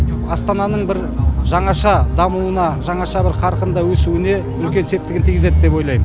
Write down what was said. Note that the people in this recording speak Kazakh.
астананың бір жаңаша дамуына жаңаша бір қарқында өсуіне үлкен септігін тигізеді деп ойлайм